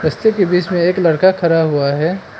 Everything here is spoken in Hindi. रस्ते के बीच मे एक लड़का खड़ा हुआ है।